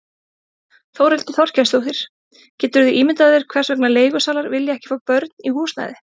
Þórhildur Þorkelsdóttir: Geturðu ímyndað þér hvers vegna leigusalar vilja ekki fá börn í húsnæði?